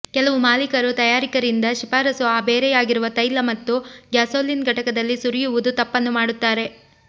ಕೆಲವು ಮಾಲೀಕರು ತಯಾರಕರಿಂದ ಶಿಫಾರಸು ಆ ಬೇರೆಯಾಗಿರುವ ತೈಲ ಮತ್ತು ಗ್ಯಾಸೋಲಿನ್ ಘಟಕದಲ್ಲಿ ಸುರಿಯುವುದು ತಪ್ಪನ್ನು ಮಾಡುತ್ತಾರೆ